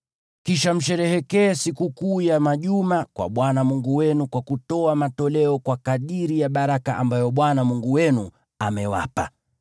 Kisha msherehekee Sikukuu ya Majuma kwa Bwana Mungu wenu kwa kutoa sadaka ya hiari kwa kadiri ya baraka ambayo Bwana Mungu wenu amewapa.